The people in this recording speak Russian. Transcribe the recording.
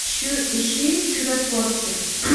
ищи чудотворцы